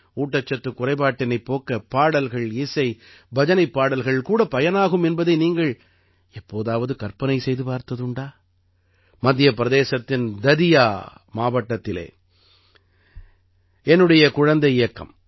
ஊட்டச்சத்துக் குறைபாட்டினைப் போக்க பாடல்கள்இசை பஜனைப்பாடல்கள் கூட பயனாகும் என்பதை நீங்கள் எப்போதாவது கற்பனை செய்து பார்த்ததுண்டா மத்திய பிரதேசத்தின் ததியா மாவட்டத்திலே என்னுடைய குழந்தை இயக்கம்